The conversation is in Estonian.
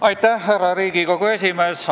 Austatud härra Riigikogu esimees!